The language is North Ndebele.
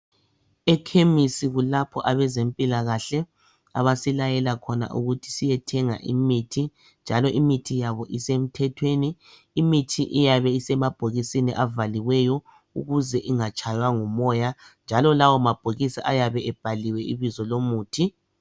Ekhemisi kulapho abazempilakahle abasilayela khona ukuthi siyethenga imithi njalo imithi yabo isemthetweni imithi iyabe isemabhokisini avaliweyo ukuze ingatshwaywa ngumoya njalo lawo mabhokisi ayabe ebhaliwe ibizo yomuthi